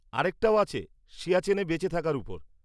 আরেকটাও আছে সিয়াচেনে বেঁচে থাকার ওপর।